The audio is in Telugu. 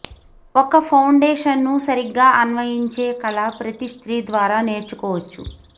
ఒక ఫౌండేషన్ ను సరిగ్గా అన్వయించే కళ ప్రతి స్త్రీ ద్వారా నేర్చుకోవచ్చు